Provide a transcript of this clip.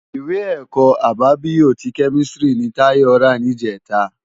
Iwé èkò ábábiyó ti kèmistiri ni Tayo rá nijètá